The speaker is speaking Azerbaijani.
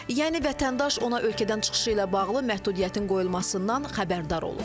Yəni vətəndaş ona ölkədən çıxışı ilə bağlı məhdudiyyətin qoyulmasından xəbərdar olur.